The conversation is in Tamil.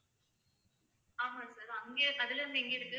ஆமா sir அங்க அதுல இருந்து எங்க இருக்கு?